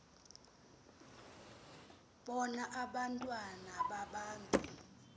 bona abantwana babantu